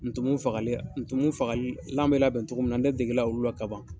Ntumu fagali ntumu fagali lan bɛ labɛn cogo min na ne dege la olu la ka ban.